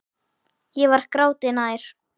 Ég var gráti nær.